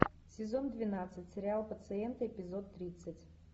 сезон двенадцать сериал пациенты эпизод тридцать